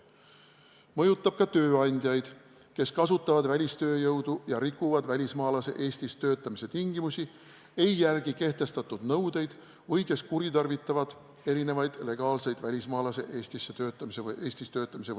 See mõjutab ka tööandjaid, kes kasutavad välistööjõudu ja rikuvad välismaalase Eestis töötamise tingimusi, ei järgi kehtestatud nõudeid või kuritarvitavad erinevaid legaalseid välismaalase Eestis töötamise võimalusi.